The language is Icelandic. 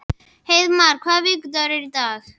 Hreiðmar, hvaða vikudagur er í dag?